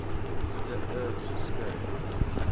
the earth skou